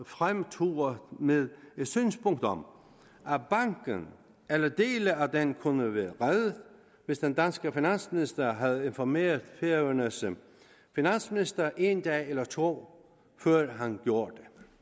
fremturet med et synspunkt om at banken eller dele af den kunne have været reddet hvis den danske finansminister havde informeret færøernes finansminister en dag eller to før han gjorde